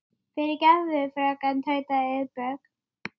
Að hlýða sínu kalli